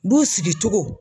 Du sigi cogo